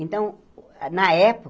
Então, na